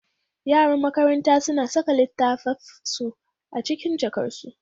Yaran makaranta suna saka littattafansu a cikin jakarsu